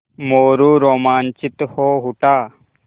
मोरू रोमांचित हो उठा